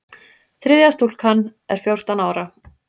Þriðja stúlkan er fjórtán ára.